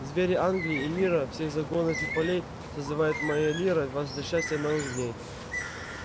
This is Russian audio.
звери англии и мира всех загонов и полей созывает моя лира вас для счастья новых дней